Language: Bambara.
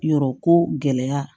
Yɔrɔ ko gɛlɛya